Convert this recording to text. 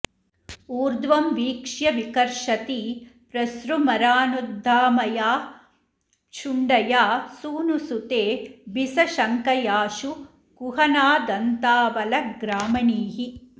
ऊर्ध्वं वीक्ष्य विकर्षति प्रसृमरानुद्दामया शुण्डया सूनुसुते बिसशङ्कयाशु कुहनादन्तावलग्रामणीः